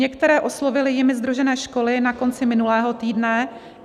Některé oslovily jimi sdružené školy na konci minulého týdne.